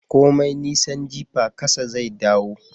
Komai nisan jifa kasa zai dawo